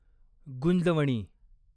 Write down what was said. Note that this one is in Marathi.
गुंजवणी